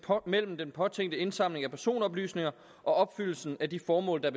mellem den påtænkte indsamling af personoplysninger og opfyldelsen af de formål der